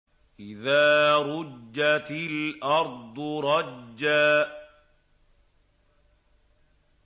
إِذَا رُجَّتِ الْأَرْضُ رَجًّا